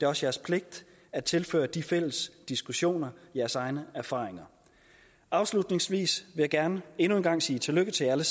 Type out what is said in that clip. også jeres pligt at tilføre de fælles diskussioner jeres egne erfaringer afslutningsvis vil jeg gerne endnu en gang sige tillykke til alle